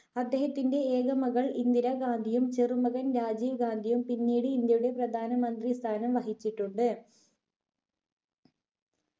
അദ്ദേഹത്തിന്റെ ഏക മകൾ ഇന്ദിര ഗാന്ധിയും ചെറു മകൻ രാജീവ് ഗാന്ധിയും പിന്നീട് ഇന്ത്യയുടെ പ്രധാന മന്ത്രി സ്ഥാനം വഹിച്ചിട്ടുണ്ട്